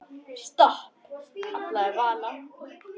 Stopp, kallaði Vala.